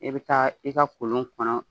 E bɛ taa i ka kolon kɔnɔ